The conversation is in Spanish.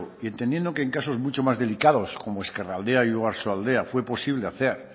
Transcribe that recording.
y entendiendo que en casos mucho más delicados como ezkeraldea y oiarsoaldea fue posible hacer